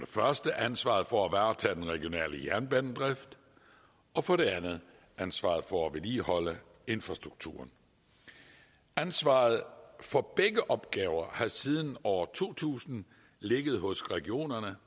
første ansvaret for at varetage den regionale jernbanedrift og for det andet ansvaret for at vedligeholde infrastrukturen ansvaret for begge opgaver har siden år to tusind ligget hos regionerne